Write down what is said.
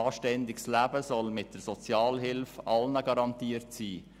Ein anständiges Leben soll mit der Sozialhilfe allen garantiert sein.